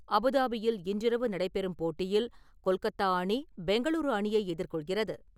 அபுதாபியில் இன்றிரவு நடைபெறும் போட்டியில் கொல்கத்தா அணி, பெங்களூரு அணியை எதிர்கொள்கிறது.